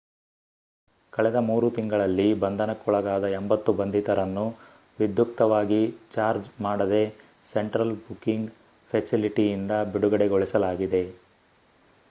ಕಳೆದ 3 ತಿಂಗಳಲ್ಲಿ ಬಂಧನಕ್ಕೊಳಗಾದ 80 ಬಂಧಿತರನ್ನು ವಿಧ್ಯುಕ್ತವಾಗಿ ಚಾರ್ಜ್ ಮಾಡದೇ ಸೆಂಟ್ರಲ್ ಬುಕಿಂಗ್ ಫೆಸಿಲಿಟಿಯಿಂದ ಬಿಡುಗಡೆಗೊಳಿಸಲಾಗಿದೆ